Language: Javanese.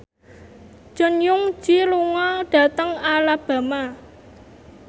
Jong Eun Ji lunga dhateng Alabama